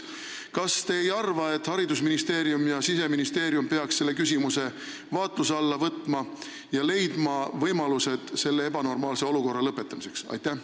Kas te ei arva, et haridusministeerium ja Siseministeerium peaks võtma selle küsimuse arutelu alla ja leidma võimalused selle ebanormaalse olukorra lõpetamiseks?